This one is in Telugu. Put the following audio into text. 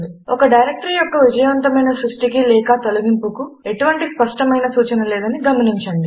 ఒక డైరెక్టరీ యొక్క విజయవంతమైన సృష్టి కి లేక తొలగింపుకు ఎటువంటి స్పష్టమైన సూచన లేదని గమనించండి